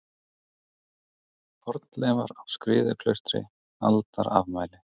Fornleifar á Skriðuklaustri Aldarafmæli.